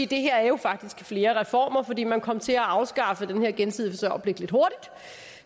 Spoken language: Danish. det her jo faktisk er flere reformer for man kom til at afskaffe den her gensidige forsørgerpligt lidt hurtigt